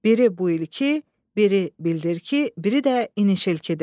Biri bu ilki, biri bildirki, biri də inişilkidir.